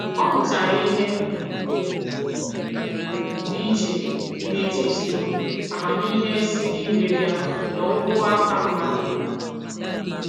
Ọ mụtara ihe dị iche n'etiti amamihe si n'igwe bịa na okwu aka mmadụ.